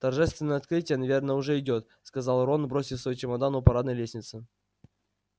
торжественное открытие наверное уже идёт сказал рон бросив свой чемодан у парадной лестницы